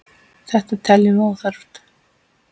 Þetta teljum við óþarft.